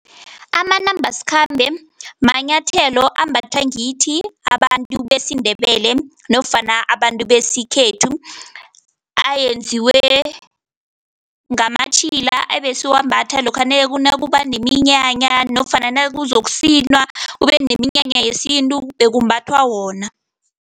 Amanambasikhambe manyathelo ambathwa ngithi abantu besiNdebele nofana abantu besikhethu, ayenziwe ngamatjhila ebesiwambatha lokha nakuba neminyanya nofana nakuzokusinwa kube neminyanya yesintu, bekumbathwa wona.